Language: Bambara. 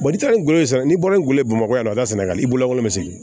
n'i taara ni gundo ye sa n'i bɔra ngolo ye bamakɔ yan o ka sɛnɛgali i bolo bɛ sigi